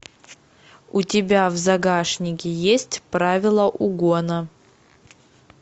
у тебя в загашнике есть правила угона